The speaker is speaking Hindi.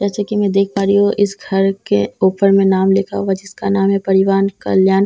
जैसे की मैं देख पा रही हूँ इस घर के ऊपर में नाम लिखा हुआ है जिसका नाम है परिवान कल्याण संसथा --